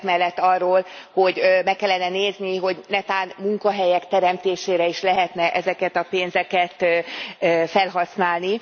Egyebek mellett arról, hogy meg kellene nézni, hogy netán munkahelyek teremtésére is lehetne ezeket a pénzeket felhasználni.